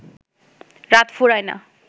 রাত ফুরায় না